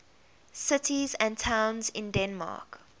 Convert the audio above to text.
cities and towns in denmark